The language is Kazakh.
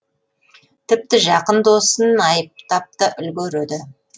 тіпті жақын досын айыптап та үлгереді